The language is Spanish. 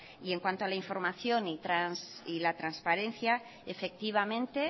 y en cuanto a la información y a la transparencia efectivamente